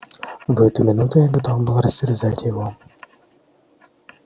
в эту минуту я готов был растерзать его